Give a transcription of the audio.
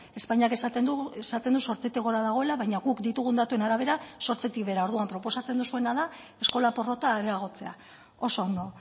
espainiak esaten du zortzitik gora dagoela baina guk ditugun datuen arabera zortzitik behera orduan proposatzen duzuena da eskola porrota areagotzea oso ondo